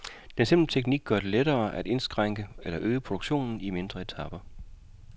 Den simple teknik gør det lettere at indskrænke eller øge produktionen i mindre etaper.